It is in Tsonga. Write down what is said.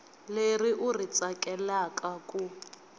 leri u ri tsakelaka ku